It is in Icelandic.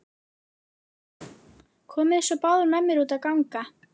Komiði svo báðar með mér út að ganga.